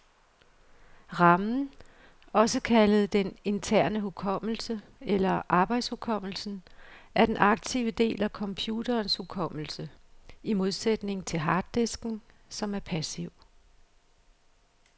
Ramen, også kaldet den interne hukommelse eller arbejdshukommelsen, er den aktive del af computerens hukommelse, i modsætning til harddisken, som er passiv.